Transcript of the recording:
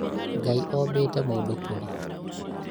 Ngai ombĩte mũndũ kũrĩ